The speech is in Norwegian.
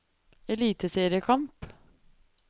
eliteseriekamp